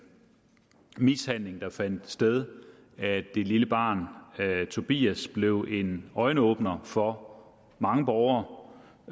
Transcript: mishandling der fandt sted af det lille barn tobias blev en øjenåbner for mange borgere